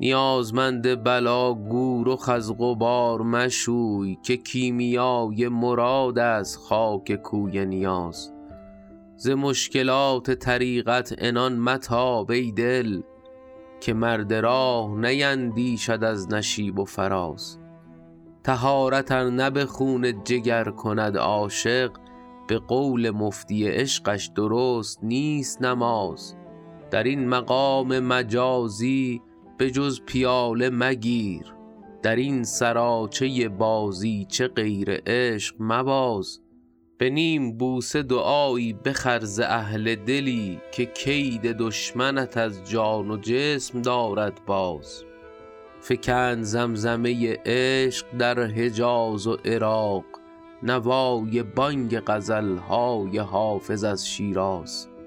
نیازمند بلا گو رخ از غبار مشوی که کیمیای مراد است خاک کوی نیاز ز مشکلات طریقت عنان متاب ای دل که مرد راه نیندیشد از نشیب و فراز طهارت ار نه به خون جگر کند عاشق به قول مفتی عشقش درست نیست نماز در این مقام مجازی به جز پیاله مگیر در این سراچه بازیچه غیر عشق مباز به نیم بوسه دعایی بخر ز اهل دلی که کید دشمنت از جان و جسم دارد باز فکند زمزمه عشق در حجاز و عراق نوای بانگ غزل های حافظ از شیراز